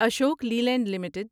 Ashok Leyland limited